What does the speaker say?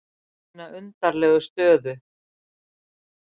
Mína undarlegu stöðu.